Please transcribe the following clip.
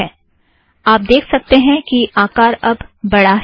ठीक है - आप देख सकतें हैं कि आकार अब बढ़ा है